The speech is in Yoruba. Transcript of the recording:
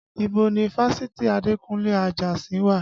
Ibo ni fásitì Adekunle Ajasin wà?